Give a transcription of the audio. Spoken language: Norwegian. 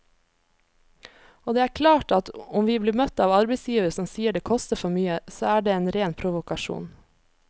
Og det er klart at om vi blir møtt av arbeidsgivere som sier det koster for mye, så er det en ren provokasjon.